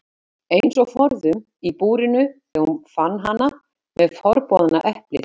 Eins og forðum í búrinu þegar hún fann hana með forboðna eplið.